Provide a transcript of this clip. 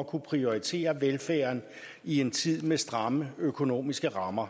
at kunne prioritere velfærden i en tid med stramme økonomiske rammer